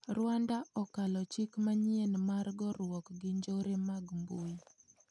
Rwanda okalo chik manyien mar goruok gi njore mag mbuyi.